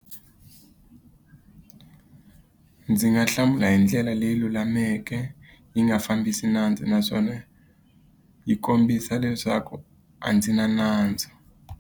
Ndzi nga hlamula hi ndlela leyi lulameke, yi nga fambisi nandzu, naswona yi kombisa leswaku a ndzi na nandzu.